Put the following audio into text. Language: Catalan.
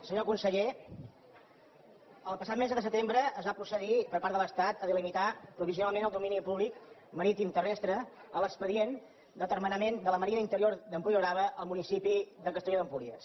senyor conseller el passat mes de setembre es va procedir per part de l’estat a delimitar provisionalment el domini públic maritimoterrestre a l’expedient d’atermenament de la ma rina interior d’empuriabrava al municipi de castelló d’empúries